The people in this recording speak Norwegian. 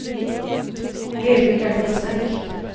I øyeblikket er den for sterk.